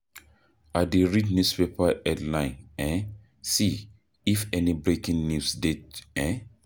I dey read newspaper headline um see if any breaking news dey. um